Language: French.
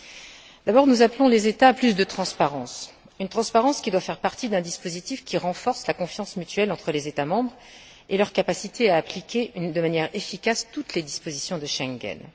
Nous appelons d'abord les États à plus de transparence, une transparence qui doit faire partie d'un dispositif qui renforce la confiance mutuelle entre les États membres, et leur capacité à appliquer de manière efficace toutes les dispositions de Schengen.